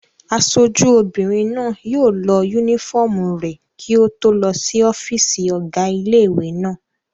Aṣojú obìnrin náà yóò lọ yúnífọ́ọ̀mù rẹ̀ kí ó tó lọ sí ọ́fìsì ọ̀gá ilé-ìwé náà